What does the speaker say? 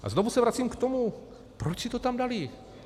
A znovu se vracím k tomu: Proč si to tam dali?